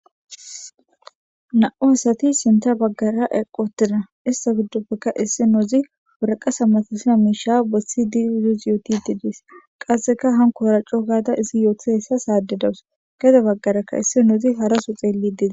Na7u hasati sinta baggara eqi utida issa giddoppekka issi noozi woraqata matosha miisha bossi diyuzus yooti diidis qasseka hanko oraccoo gaada izi yootisahessa saadedawus geda baggaraka issi noozi haraso xeelli diza.